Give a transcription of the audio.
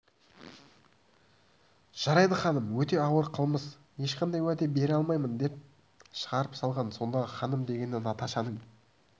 жарайды ханым өте ауыр қылмыс ешқандай уәде бере алмаймын деп шығарып салған сондағы ханым дегені наташаның